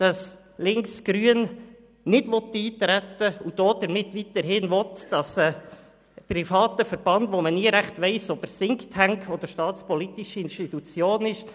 Dadurch, dass die links-grüne Seite nicht eintreten will, will sie erreichen, dass weiterhin ein privater Verband die Sache regelt, bei dem man nie recht weiss, ob er Thinktank oder staatspolitische Institution ist.